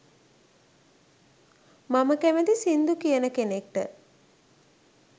මම කැමැති සිංදු කියන කෙනෙක්ට.